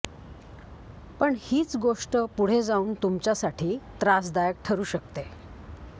पण हीच गोष्ट पुढे जाऊन तुमच्यासाठी त्रासदायक ठरू शकते